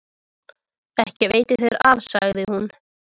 Ekki veitir þér af, sagði hún.